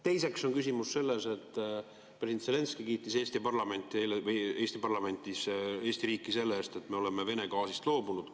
Teiseks on küsimus selles, et president Zelenskõi kiitis Eesti parlamendis Eesti riiki selle eest, et me oleme Vene gaasist loobunud.